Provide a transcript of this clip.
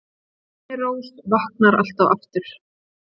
Þyrnirós vaknar alltaf aftur